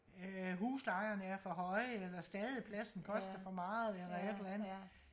øh huslejerne er for høje eller stadepladsen koster for meget eller et eller andet